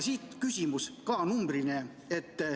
Siit küsimus, ka numbriline.